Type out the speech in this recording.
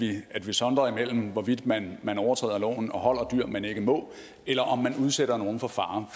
i at vi sondrer imellem hvorvidt man man overtræder loven og holder dyr man ikke må eller om man udsætter nogle for fare